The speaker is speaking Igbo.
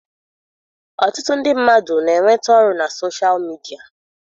Ọtụtụ ndị mmadụ na-enweta ọrụ na soshal midia.